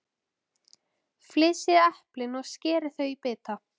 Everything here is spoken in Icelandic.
Flysjið eplin og skerið þau í bita.